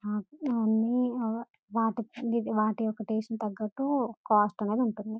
ఆ ఇవన్నీ వాటి-వాటి యొక్క టేస్ట్ కు తగ్గట్టు కాస్ట్ అనేది ఉంటుంది.